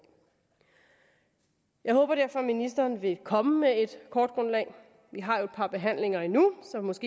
jeg håber derfor at ministeren vil komme med et kortgrundlag vi har jo et par behandlinger endnu